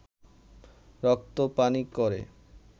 রক্ত পানি করে